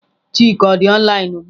Chika ọ dị online ugbu a?